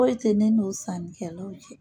Foyi tɛ ne n'o sannikɛlaw cɛ.